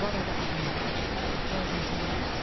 Bu arada adım Mixailo, soyadım isə Romandır.